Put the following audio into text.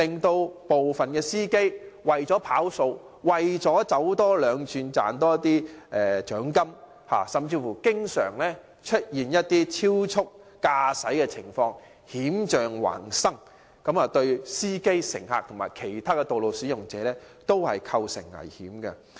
有部分的司機為了"跑數"、為了多走兩轉多賺些獎金，經常超速駕駛，險象環生，對司機、乘客和其他的道路使用者均構成危險。